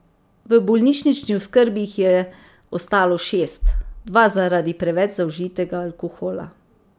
V bolnišnični oskrbi jih je ostalo šest, dva zaradi preveč zaužitega alkohola.